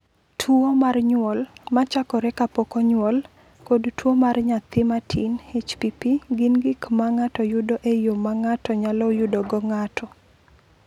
"Tuwo mar nyuol (ma chakore kapok onyuol) kod tuwo mar nyathi matin (HPP) gin gik ma ng’ato yudo e yo ma ng’ato nyalo yudogo ng’ato."